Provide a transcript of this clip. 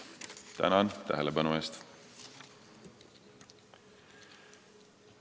Tänan tähelepanu eest!